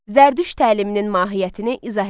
Zərdüşt təliminin mahiyyətini izah eləyin.